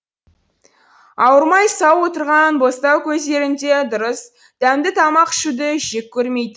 ауырмай сау отырған бостау көздерінде дұрыс дәмді тамақ ішуді жек көрмейтін